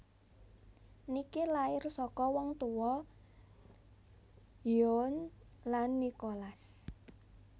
Nicky lahir saka wong tuwa Yvonne lan Nicholas